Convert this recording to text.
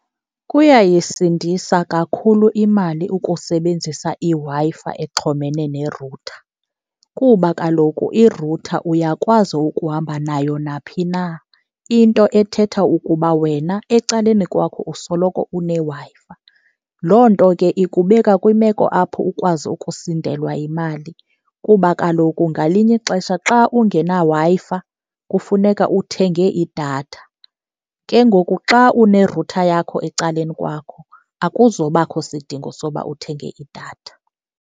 Kuyayisindisa kakhulu imali ukusebenzisa iWi-Fi exhomene ne-router kuba kaloku i-router uyakwazi ukuhamba nayo naphina, into ethetha ukuba wena ecaleni kwakho usoloko uneWi-Fi. Loo nto ke ikubeka kwimeko apho ukwazi ukusindelwa yimali, kuba kaloku ngalinye ixesha xa ungenaWi-Fi kufuneka uthenge idatha. Ke ngoku xa une-router yakho ecaleni kwakho akuzobakho sidingo soba uthenge idatha.